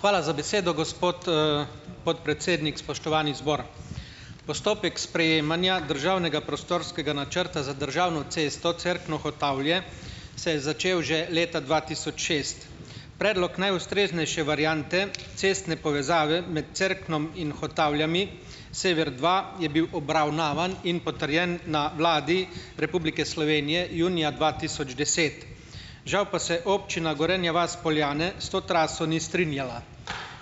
Hvala za besedo, gospod, podpredsednik! Spoštovani zbor! Postopek sprejemanja državnega prostorskega načrta za državno cesto Cerkno-Hotavlje, se je začel že leta dva tisoč šest. Predlog najustreznejše variante cestne povezave med Cerknom in Hotavljami, Sever dva, je bil obravnavan in potrjen na Vladi Republike Slovenije junija dva tisoč deset. Žal pa se občina Gorenja vas - Poljane s to traso ni strinjala.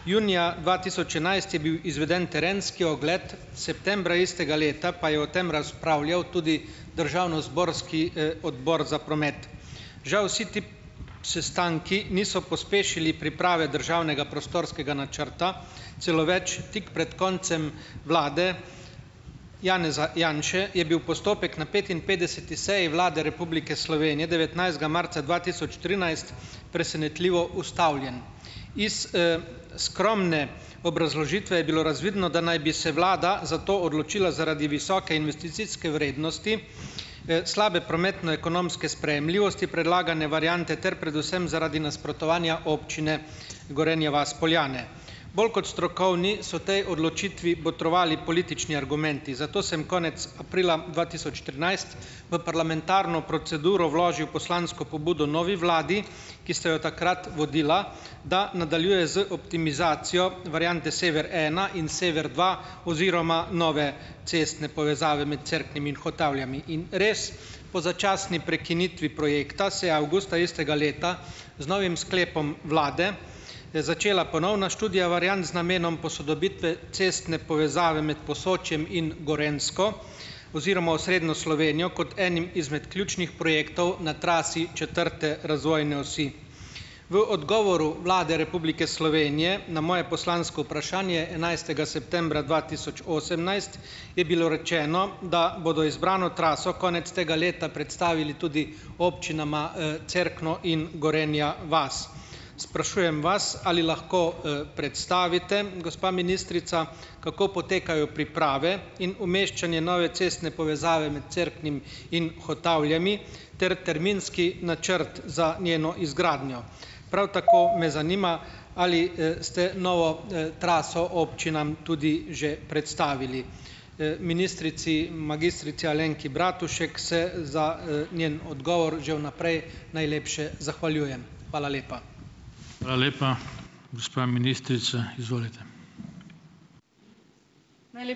Junija dva tisoč enajst je bil izveden terenski ogled, septembra istega leta pa je o tem razpravljal tudi državnozborski, Odbor za promet. Žal vsi ti sestanki niso pospešili priprave državnega prostorskega načrta. Celo več, tik pred koncem vlade Janeza Janše je bil postopek na petinpetdeseti seji Vlade Republike Slovenije devetnajstega marca dva tisoč trinajst presenetljivo ustavljen. Iz, skromne obrazložitve je bilo razvidno, da naj bi se vlada za to odločila zaradi visoke investicijske vrednosti, slabe prometno-ekonomske sprejemljivosti, predlagane variante ter predvsem zaradi nasprotovanja občine Gorenja vas - Poljane. Bolj kot strokovni so tej odločitvi botrovali politični argumenti, zato sem konec aprila dva tisoč trinajst v parlamentarno proceduro vložil poslansko pobudo novi vladi, ki ste jo takrat vodila, da nadaljuje z optimizacijo variante sever ena in sever dva oziroma nove cestne povezave med Cerknim in Hotavljami, in res, po začasni prekinitvi projekta se je avgusta istega leta z novim sklepom vlade začela ponovna študija variant z namenom posodobitve cestne povezave med Posočjem in Gorenjsko oziroma osrednjo Slovenijo kot enim izmed ključnih projektov na trasi četrte razvojne osi. V odgovoru Vlade Republike Slovenije na moje poslansko vprašanje enajstega septembra dva tisoč osemnajst je bilo rečeno, da bodo izbrano traso konec tega leta predstavili tudi občinama, Cerkno in Gorenja vas. Sprašujem vas, ali lahko, predstavite, gospa ministrica, kako potekajo priprave in umeščanje nove cestne povezave med Cerknim in Hotavljami ter terminski načrt za njeno izgradnjo. Prav tako me zanima ali, ste novo, traso občinam tudi že predstavili. Ministrici magistrici Alenki Bratušek se za, njen odgovor že vnaprej najlepše zahvaljujem. Hvala lepa.